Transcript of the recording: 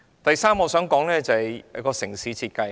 第三點是城市設計。